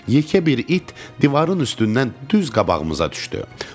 Yekə bir it divarın üstündən düz qabağımıza düşdü.